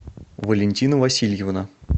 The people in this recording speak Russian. валентина васильевна